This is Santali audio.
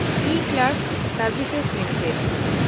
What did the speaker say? ᱤᱠᱞᱮᱨᱠᱥ ᱥᱮᱱᱰᱵᱷᱥᱮᱥ ᱞᱤᱢᱤᱴᱮᱰ